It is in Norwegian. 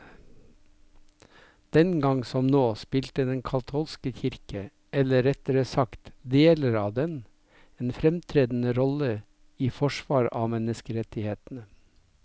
Den gang som nå spilte den katolske kirke, eller rettere sagt deler av den, en fremtredende rolle i forsvar av menneskerettighetene.